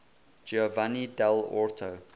giovanni dall orto